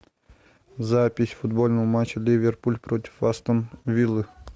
запись футбольного матча ливерпуль против астон виллы